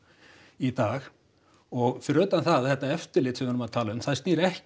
í dag og fyrir utan það að þetta eftirlit sem við erum að tala um það snýr ekki